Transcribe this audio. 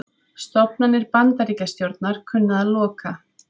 Stofnanir Bandaríkjastjórnar kunna að loka